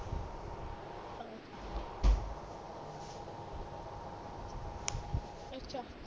ਅੱਛਾ